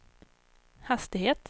hastighet